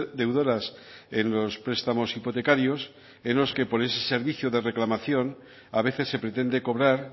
deudoras en los prestamos hipotecarios en los que por ese servicio de reclamación a veces se pretende cobrar